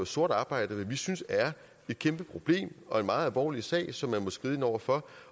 sort arbejde hvad vi synes er et kæmpe problem og en meget alvorlig sag som man må skride ind over for